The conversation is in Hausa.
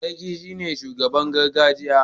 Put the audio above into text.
Sarki ne shugaban gargajiya